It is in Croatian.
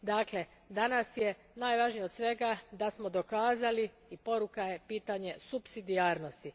Dakle, danas je najvažnije od svega da smo dokazali i poruka je pitanje supsidijarnosti.